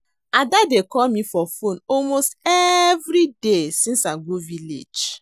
Ada dey call me for phone almost every day since I go village